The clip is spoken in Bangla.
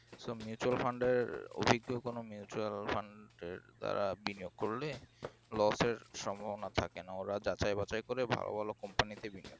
so mutual fund অভিজ্ঞ কোন mutual fund তারা বিনিয়োগ করলে loss এর সম্ভাবনা থাকে না ওরা যাচাই-বাছাই করে ভালো ভালো company তে বিনিয়োগ করে